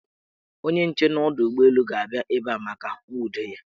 Onye nche n' ọdọụgbọelu ga-abịa ebe a maka nwudo ya.